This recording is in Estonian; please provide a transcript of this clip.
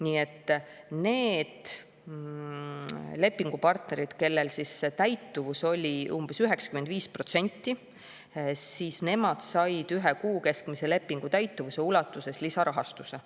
Nii et need lepingupartnerid, kellel täituvus oli umbes 95%, said ühe kuu keskmise lepingu täituvuse ulatuses lisarahastuse.